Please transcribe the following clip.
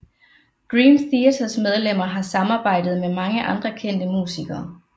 Dream Theaters medlemmer har samarbejdet med mange andre kendte musikere